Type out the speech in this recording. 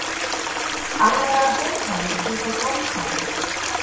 Alvarlegar hótanir út af dómsmáli